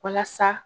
Walasa